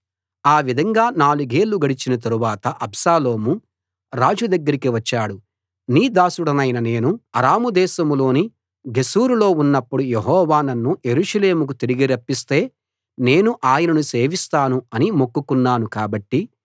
ఆ విధంగా నాలుగేళ్ళు గడచిన తరువాత అబ్షాలోము రాజు దగ్గరికి వచ్చాడు నీ దాసుడనైన నేను అరాము దేశంలోని గెషూరులో ఉన్నప్పుడు యెహోవా నన్ను యెరూషలేముకు తిరిగి రప్పిస్తే నేను ఆయనను సేవిస్తాను అని మొక్కుకున్నాను కాబట్టి